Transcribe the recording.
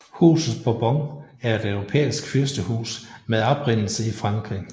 Huset Bourbon er et europæisk fyrstehus med oprindelse i Frankrig